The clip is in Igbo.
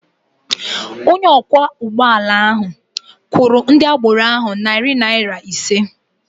Onye ọkwọ ụgbọ ala ahụ kwụrụ narị naira ise nye ndị agbero ahụ.